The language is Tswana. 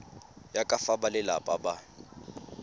ya ka fa balelapa ba